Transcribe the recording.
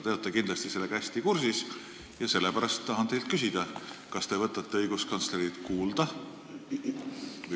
Te olete kindlasti sellega hästi kursis ja sellepärast tahan teilt küsida: kas te võtate õiguskantslerit kuulda?